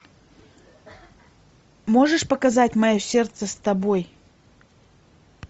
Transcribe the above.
можешь показать мое сердце с тобой